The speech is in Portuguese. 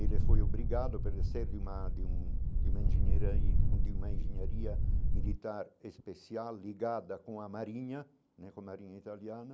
Ele foi obrigado de uma de um de uma engenheira e de uma engenharia militar especial ligada com a marinha né, com a marinha italiana.